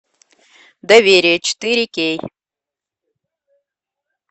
доверие четыре кей